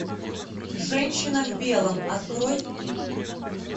женщина в белом открой